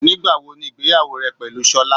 Nígbà wo ni ìgbéyàwó rẹ pẹ̀lú Sola?